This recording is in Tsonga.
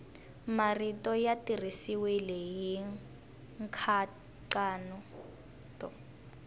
marito ya tirhisiwile hi nkhaqato